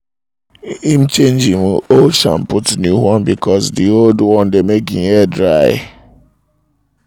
im change im old shampoo to new one b'cause di old one dey make im hair dry